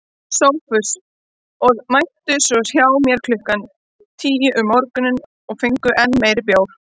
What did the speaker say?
SOPHUS: Og mættuð svo hjá mér klukkan tíu um morguninn og fenguð enn meiri bjór.